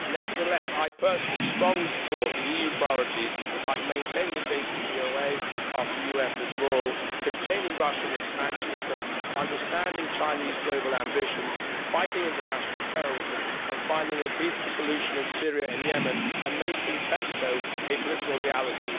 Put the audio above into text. Nevertheless, I personally strongly support the EU priorities, including maintaining the JCPOA after US withdrawal, containing Russian expansionism, understanding Chinese global ambitions, fighting international terrorism, finding a peaceful solution in Syria and Yemen, and making PESCO a political reality.